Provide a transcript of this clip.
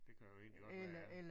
Det kan vel egentlig godt være ja